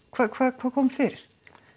hvað hvað hvað kom fyrir